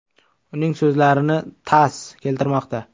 Uning so‘zlarini “TASS” keltirmoqda .